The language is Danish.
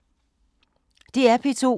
DR P2